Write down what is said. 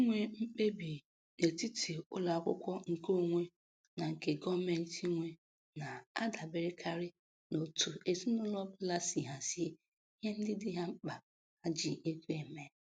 Inwe mkpebi n'etiti ụlọakwụkwọ nke onwe na nke gọọmentị nwe na-adaberekarị n'otu ezinaụlọ ọbụla si hazie ihe ndị dị ha mkpa ha ji ego eme.